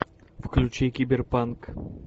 включи киберпанк